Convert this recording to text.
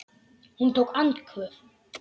Hann tók andköf.